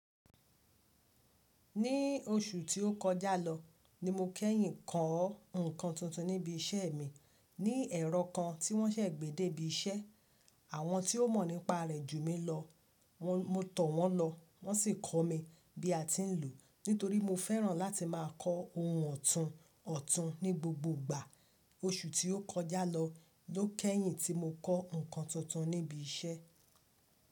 Ní oṣù tí ó kọjá lọ ní mo kẹ́yìn kọ́ nǹkan tuntun níbi iṣẹ́ mi. Ní ẹ̀rọ kan tí wọ́n ṣẹ̀ gbédè bí iṣẹ́. Àwọn tí ó mọ̀ nípa rẹ̀ ju mi lọ, mo tọ̀ wọ́n lọ wọ́n sì kọ́ mi bí a ti ń lò ó. Nítorí mo fẹ́ràn láti má a kọ́ ohun ọ̀tun ọ̀tun ní gbogbo ìgbà. Oṣù tí ó kọjá lọ ló kẹ́yìn tí mo kọ́ nǹkan tuntun níbi iṣẹ́.